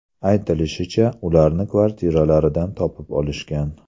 Aytilishicha, ularni kvartiralaridan topib olishgan.